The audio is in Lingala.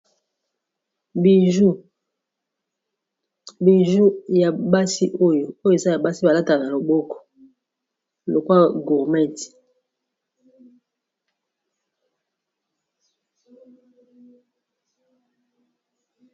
Biju ya basi oyo oyo eza ya basi balata na loboko okwa gormet.